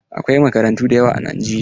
Akwai makarantu da yawa a Najeriya.